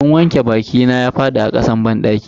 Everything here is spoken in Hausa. Abun wanke bakina ya fadi a kasan banɗaki.